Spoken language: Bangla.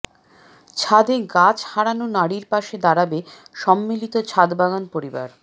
ছাদে গাছ হারানো নারীর পাশে দাঁড়াবে সম্মিলিত ছাদবাগান পরিবার